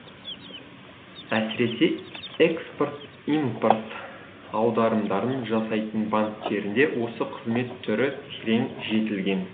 әсіресе экспорт импорт аударымдарын жасайтын банктерінде осы қызмет түрі терең жетілген